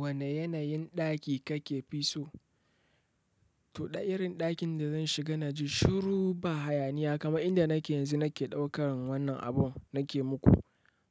Wane yanayin ɗaki kake fi so? To, irin ɗakin da zan shiga na ji shuru, ba hayaniya. Kaman inda nake yanzu nake ɗaukar wannan abun nake muku.